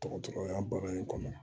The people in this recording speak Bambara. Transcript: Dɔgɔtɔrɔya baga in kɔnɔ